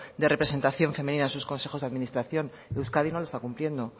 de representación femenina en sus consejos de administración euskadi no lo está cumpliendo